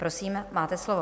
Prosím, máte slovo.